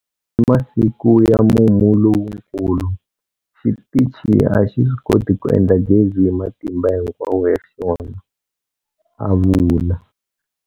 Hi masiku ya mumu lowukulu, xitichi a xi swi koti ku endla gezi hi matimba hinkwawo ya xona, a vula.